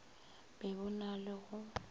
be bo na le go